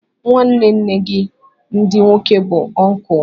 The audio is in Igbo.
Nwanne nne gị ndị nwoke bụ ọnkụl